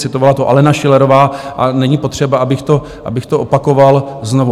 Citovala to Alena Schillerová a není potřeba, abych to opakoval znovu.